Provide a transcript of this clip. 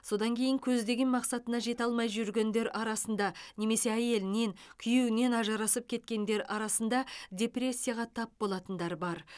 содан кейін көздеген мақсатына жете алмай жүргендер арасында немесе әйелінен күйеуінен ажырасып кеткендер арасында депрессияға тап болатындар бар